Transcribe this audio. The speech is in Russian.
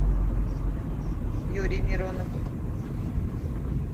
юрий миронов